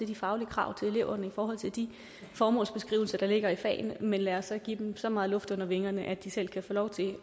de faglige krav til eleverne i forhold til de formålsbeskrivelser der ligger i fagene men lad os så give dem så meget luft under vingerne at de selv kan få lov til